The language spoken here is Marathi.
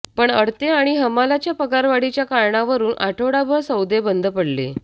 पण अडते आणि हमालाच्या पगारवाढीच्या कारणावरुन आठवडाभर सौदे बंद पडले